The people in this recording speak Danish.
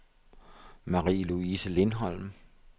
Marie-Louise Lindholm